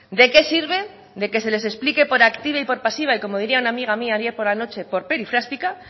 de qué sirve que se les explique por activa y por pasiva y como diría una amiga mía ayer por la noche por perifrástica